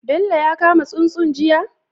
Bello ya kama tsuntsun jiya?